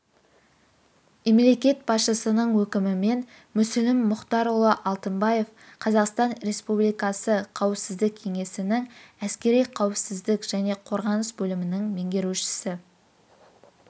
мемлекет басшысының өкімімен мүслім мұхтарұлы алтынбаев қазақстан республикасы қауіпсіздік кеңесінің әскери қауіпсіздік және қорғаныс бөлімінің меңгерушісі